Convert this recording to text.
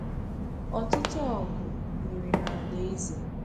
Ọtụtụ ọgụ mere n’ala eze.